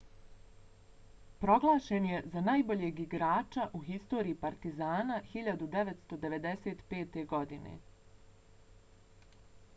proglašen je za najboljeg igrača u historiji partizana 1995. godine